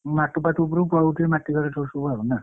ମାଟି ଫାଟି ଉପରକୁ ପଳଉଥିବେ ମାଟି ଘର ଯାହାର ସବୁ ନା।